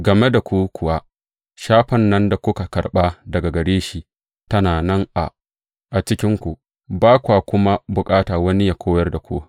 Game da ku kuwa, shafan nan da kuka karɓa daga gare shi tana nan a cikinku, ba kwa kuma bukata wani yă koyar da ku.